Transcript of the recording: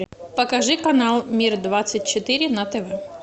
покажи канал мир двадцать четыре на тв